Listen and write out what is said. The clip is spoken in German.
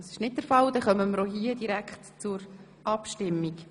– Das ist nicht der Fall, damit kommen wir auch hier direkt zur Abstimmung.